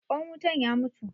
Ƙwan wutan ya mutu.